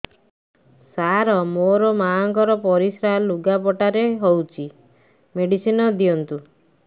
ସାର ମୋର ମାଆଙ୍କର ପରିସ୍ରା ଲୁଗାପଟା ରେ ହଉଚି ମେଡିସିନ ଦିଅନ୍ତୁ